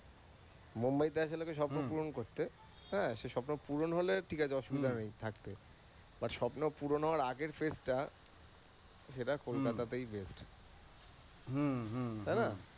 মুম্বাই তে আসে লোকে স্বপ্ন পুরন করতে, হ্যাঁ, সে স্বপ্ন পুরন হলে ঠিক আছে অসুবিধা নেই থাকতে But স্বপ্ন পুরন হওয়ার আগের stage টা সেটা কলকাতা তেই best তাইনা?